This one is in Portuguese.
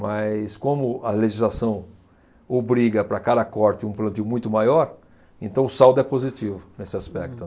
Mas, como a legislação obriga para cada corte um plantio muito maior, então o saldo é positivo nesse aspecto.